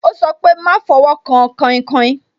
Ó sọ pé "máa fọwọ́ kan kainkain"